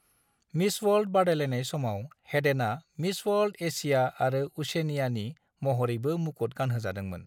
Miss World बादायलायनाय समाव हेडना "मिस वर्ल्ड - एशिया आरो उशेनिया"नि महरैबो मुकुत गानहोजादोंमोन।